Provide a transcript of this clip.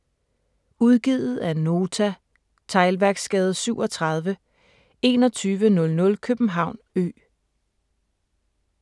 Udgivet af Nota Teglværksgade 37 2100 København Ø